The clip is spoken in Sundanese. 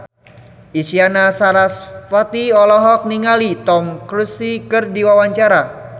Isyana Sarasvati olohok ningali Tom Cruise keur diwawancara